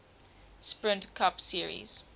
sprint cup series